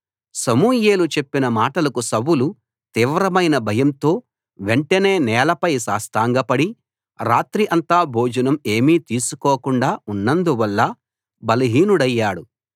సమూయేలు చెప్పిన మాటలకు సౌలు తీవ్రమైన భయంతో వెంటనే నేలపై సాష్టాంగపడి రాత్రి అంతా భోజనం ఏమీ తీసుకోకుండా ఉన్నందువల్ల బలహీనుడయ్యాడు